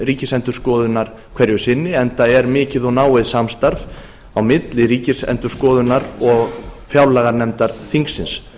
ríkisendurskoðunar hverju sinni enda er mikið og náið samstarf á milli ríkisendurskoðunar og fjárlaganefndar þingsins